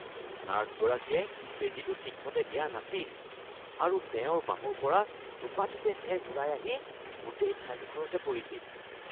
নাৰ্ছগৰাকীয়ে বেজীটো ঠিকমতে দিয়া নাছিল আৰু তেওঁৰ বাহুৰ পৰা টোপাটোপে তেজ ওলাই আহি গোটেই ঠাইডোখৰতে পৰিছিল।